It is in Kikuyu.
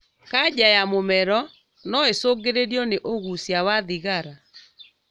Kanja ya mũmero noĩcũngĩrĩrio nĩ ũgucia wa thigara